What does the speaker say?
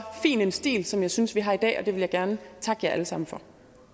fin en stil som jeg synes vi har gjort i dag og det vil jeg gerne takke jer alle sammen for